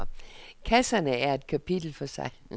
Kasserne er et kapitel for sig.